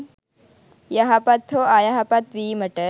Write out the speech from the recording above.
යහපත් හෝ අයහපත් වීමට